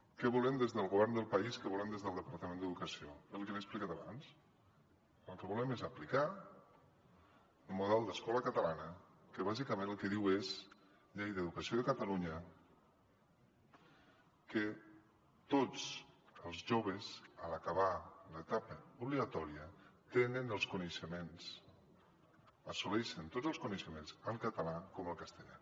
què volem des del govern del país què volem des del departament d’educació el que li he explicat abans el que volem és aplicar el model d’escola catalana que bàsicament el que diu és llei d’educació de catalunya que tots els joves a l’acabar l’etapa obligatòria tenen els coneixements assoleixen tots els coneixements tant en català com en castellà